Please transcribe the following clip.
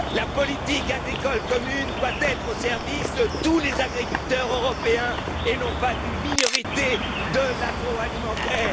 La politique agricole commune doit être au service de tous les agriculteurs européens et non pas d'une minorité de l'agroalimentaire.